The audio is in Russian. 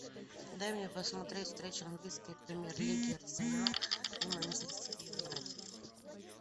дай мне посмотреть встречу английской премьер лиги арсенал и манчестер юнайтед